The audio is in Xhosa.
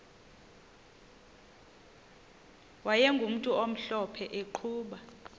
wayegumntu omhlophe eqhuba